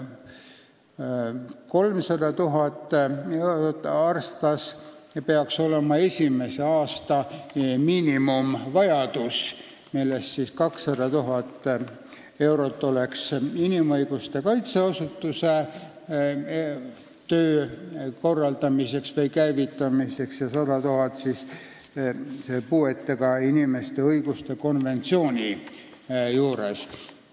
300 000 eurot peaks olema esimese aasta miinimumvajadus, millest 200 000 eurot läheks inimõiguste kaitse asutuse töö korraldamiseks või käivitamiseks ja 100 000 eurot puuetega inimeste õiguste konventsiooniga tegelemiseks.